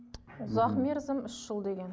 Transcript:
ұзақ мерзім үш жыл деген